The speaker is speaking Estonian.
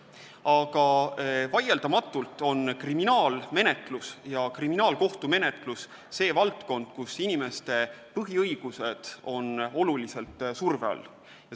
Aga vaieldamatult on kriminaalkohtumenetlus see valdkond, kus inimeste põhiõigused on tuntava surve all.